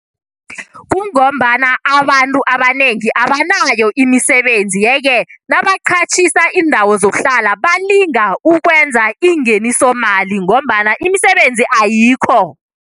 Kungombana abantu abanengi abanayo imisebenzi, yeke nabaqhatjhisa indawo iindawo zokuhlala balinga ukwenza ingenisomali ngombana imisebenzi ayikho.